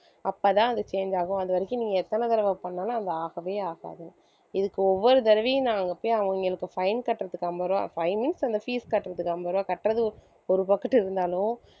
அப்பதான் அது change ஆகும் அது வரைக்கும் நீங்க எத்தன தடவை பண்ணாலும் அது ஆகவே ஆகாது இதுக்கு ஒவ்வொரு தடவையும் நான் அங்க போய் அவங்களுக்கு fine கட்டுறதுக்கு ஐம்பது ரூபாய் fine னு சொல்லல fees கட்டுறதுக்கு ஐம்பது ரூபாய் கட்டுறது ஒரு பக்கட்டு இருந்தாலும்